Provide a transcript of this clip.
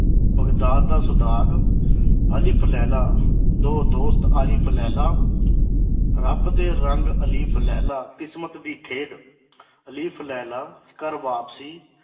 Baghdad ਦਾ ਉਸਦਾਗ ਅਲਿਫ਼ ਲੈਲਾ ਦੋ ਦੋਸਤ ਅਲਿਫ਼ ਲੇਲਾ ਰੱਬ ਦੇ ਰੰਗ ਅਲਿਫ਼ ਲੇਲਾ ਕਿਸਮਤ ਦੀ ਖੇਡ ਅਲਿਫ਼ ਲੇਲਾ ਕਰ ਵਾਪਸੀ